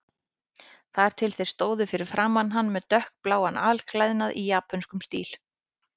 Þar til þeir stóðu fyrir framan hann með dökkbláan alklæðnað í japönskum stíl.